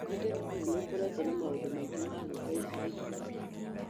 Nĩ ndĩrona atĩ nĩ ũkoretwo na maũndũ maingĩ ma gwĩka ica ikuhĩ.